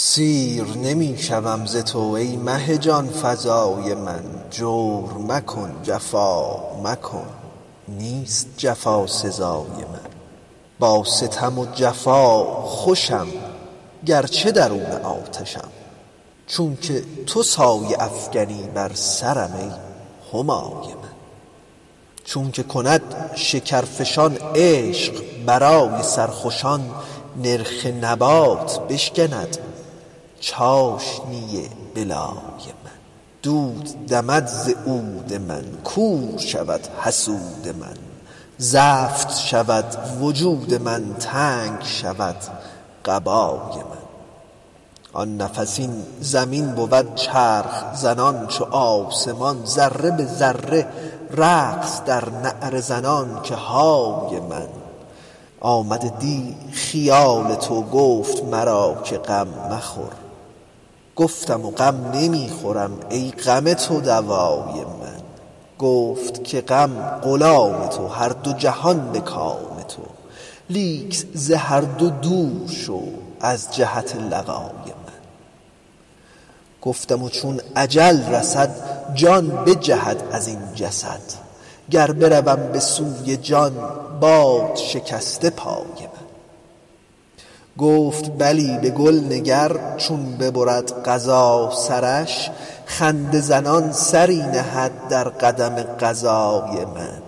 سیر نمی شوم ز تو ای مه جان فزای من جور مکن جفا مکن نیست جفا سزای من با ستم و جفا خوشم گرچه درون آتشم چونک تو سایه افکنی بر سرم ای همای من چونک کند شکرفشان عشق برای سرخوشان نرخ نبات بشکند چاشنی بلای من عود دمد ز دود من کور شود حسود من زفت شود وجود من تنگ شود قبای من آن نفس این زمین بود چرخ زنان چو آسمان ذره به ذره رقص در نعره زنان که های من آمد دی خیال تو گفت مرا که غم مخور گفتم غم نمی خورم ای غم تو دوای من گفت که غم غلام تو هر دو جهان به کام تو لیک ز هر دو دور شو از جهت لقای من گفتم چون اجل رسد جان بجهد از این جسد گر بروم به سوی جان باد شکسته پای من گفت بلی به گل نگر چون ببرد قضا سرش خنده زنان سری نهد در قدم قضای من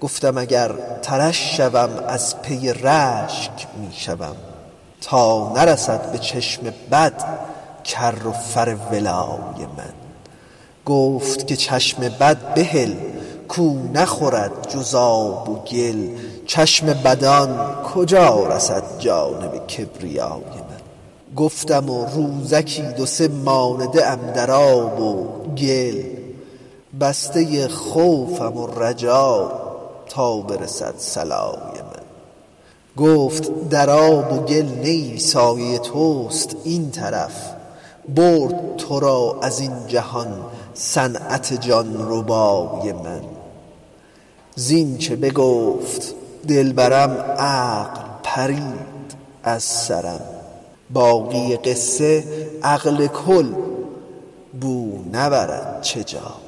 گفتم اگر ترش شوم از پی رشک می شوم تا نرسد به چشم بد کر و فر ولای من گفت که چشم بد بهل کو نخورد جز آب و گل چشم بدان کجا رسد جانب کبریای من گفتم روزکی دو سه مانده ام در آب و گل بسته خوفم و رجا تا برسد صلای من گفت در آب و گل نه ای سایه توست این طرف برد تو را از این جهان صنعت جان ربای من زینچ بگفت دلبرم عقل پرید از سرم باقی قصه عقل کل بو نبرد چه جای من